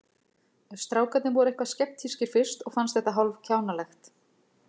Strákarnir voru eitthvað skeptískir fyrst og fannst þetta hálf kjánalegt.